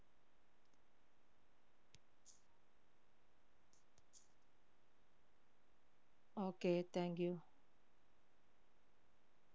okay thank you